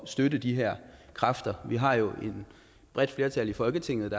støtte de her kræfter vi har jo et bredt flertal i folketinget